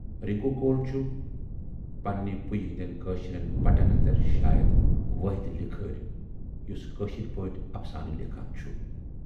رِنکو کول چھُ پننہِ پُیہِ ہٕندٮ۪ن کٲشرٮ۪ن بٹن اندر شاید وٲحِد لِکھٲرۍ یُس کٲشِرۍ پٲٹھۍ افسانہٕ لیکھان چھُ۔